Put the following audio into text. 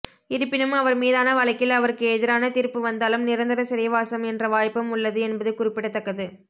இருப்பினும் அவர் மீதான வழக்கில் அவருக்கு எதிரான தீர்ப்பு வந்தாலும் நிரந்தர சிறைவாசம் என்ற வாய்ப்பும் உள்ளது என்பது குறிப்பிடத்தக்கது